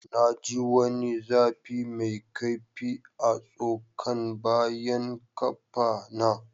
Na ji wani zafi mai kaifi a'tsokan bayan kaffa na.